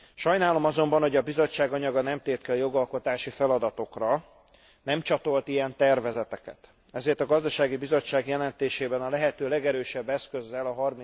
Sajnálom azonban, hogy a Bizottság anyaga nem tért ki a jogalkotási feladatokra, nem csatolt ilyen tervezeteket, ezért a Gazdasági Bizottság jelentésében a lehető legerősebb eszközzel, a